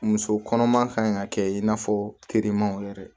Muso kɔnɔma kan ka kɛ in n'a fɔ terimaw yɛrɛ